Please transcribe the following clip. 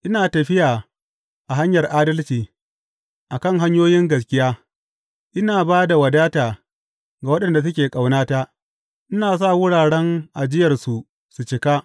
Ina tafiya a hanyar adalci, a kan hanyoyin gaskiya, ina ba da wadata ga waɗanda suke ƙaunata ina sa wuraren ajiyarsu su cika.